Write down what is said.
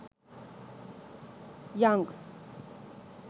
yang